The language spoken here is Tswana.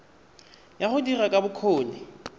ya go dira ya bokgoni